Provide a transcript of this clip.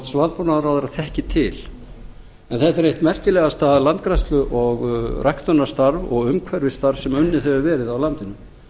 og landbúnaðarráðherra þekki til en þetta er eitthvað merkilegasta landgræðslu og ræktunarstarf og umhverfisstarf sem unnið hefur verið á landinu